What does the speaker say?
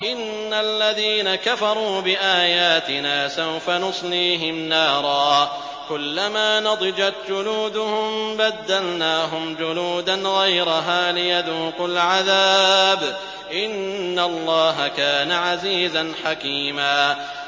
إِنَّ الَّذِينَ كَفَرُوا بِآيَاتِنَا سَوْفَ نُصْلِيهِمْ نَارًا كُلَّمَا نَضِجَتْ جُلُودُهُم بَدَّلْنَاهُمْ جُلُودًا غَيْرَهَا لِيَذُوقُوا الْعَذَابَ ۗ إِنَّ اللَّهَ كَانَ عَزِيزًا حَكِيمًا